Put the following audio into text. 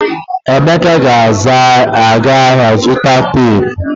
Emeka ga-aga ahịa zụta teepu.